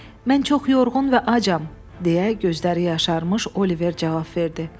Mən çox yorğun və acam, deyə gözləri yaşarmış Oliver cavab verdi.